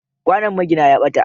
Kwanon magina ya ɓata.